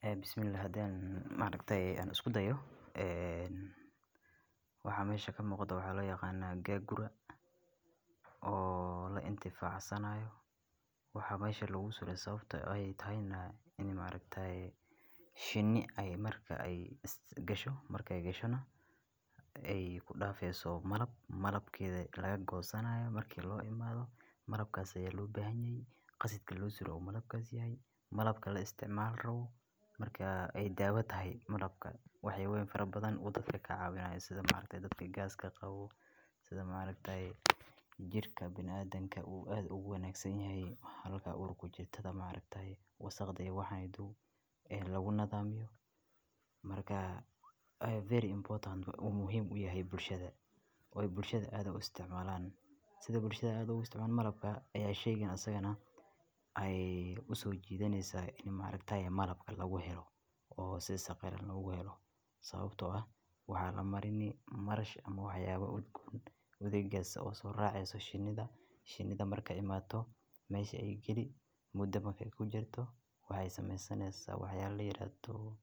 Een, bismillah. hadii aan isku dayo. Een, waxa mayshaka maqda waxaa la yaqaana gagura oo la intee faacanayo. Waxa maysha lagu soo leh sababtoo ah ay tahaynaa in ma charactere. Shiini ay marka ay ista gasho, markay gashona. Ay ku dhaafayso malab. Malabkii laga goosanayo markii loo imado. Marlankaasa yalu baahan yahay. Qasidka luus u dhaw malabkaas yahay. Marlabka la isticmaal raw. Markaa ay daawad hay marlabka. Waxay weyn farabadan u dhadhla kacaabinaa sida ma charactere dadka gaaska qabo. Sida ma charactere jirka bin aadan ka uu aad ugu wanaagsanyahay. Halka urugu jirtada ma charactere wasakhdeya. Waxaan iduu een lagu nadaamiyo. Markaa ay very important u muhiim u yahay bulshada. Oy bulshada aad u isticmaalaan. Sida bulshada aad u isticmaalaan marlabka ayaa sheygen asagana ay u soo jiidaneysa in ma charactere marlabka lagu helo oo si saqeyn ugu helo. Sababtoo ah waxaa la marini marash ama wax yaabo ud udaggaarsa oo soo raaceeso shiinida. Shiinida markay imaato. Mayshii ay geli muddo mahay ku jirto waxay samaysaneysaa. Waxyaabo leeyahato